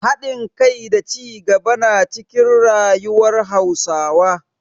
Hadin kai da cigaba na cikin rayuwar Hausawa.